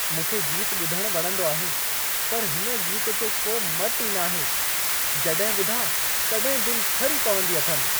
मूंखे गीत ॿुधणु वणंदो आहे, पर हिन गीत जो को मटु ई नाहे। जॾहिं ॿुधां, तॾहिं दिलि ठरी पवंदी अथमि।